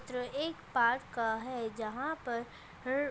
चित्र एक पार्क का है जहा पर हरर --